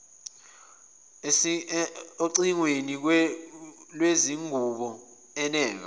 ocingweni lwezingubo eneka